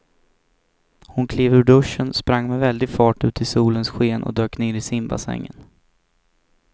Hon klev ur duschen, sprang med väldig fart ut i solens sken och dök ner i simbassängen.